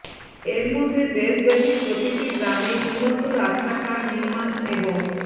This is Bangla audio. এর মধ্যে দেশব্যাপী প্রতিটি গ্রামে উন্নত রাস্তাঘাট নির্মাণ এবং